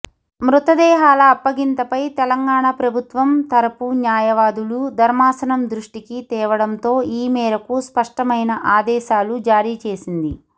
మృతదేహాల అప్పగింతపై తెలంగాణ ప్రభుత్వం తరపు న్యాయవాదులు ధర్మాసనం దృష్టకి తేవడంతో ఈ మేరకు స్పష్టమైన ఆదేశాలు జారీ చేసింది